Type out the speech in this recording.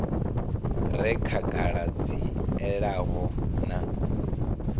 re khagala dzi elanaho na